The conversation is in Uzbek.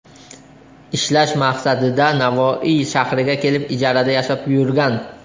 ishlash maqsadida Navoiy shahriga kelib, ijarada yashab yurgan.